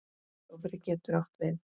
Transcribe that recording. Dofri getur átt við